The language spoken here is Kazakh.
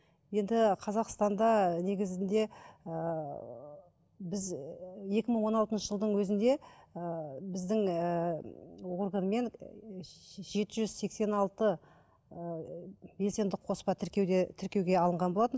енді қазақстанда негізінде ыыы біз ііі екі мың он алтыншы жылдың өзінде ыыы біздің ііі органмен жеті жүз сексен алты ыыы белсенді қоспа тіркеуде тіркеуге алынған болатын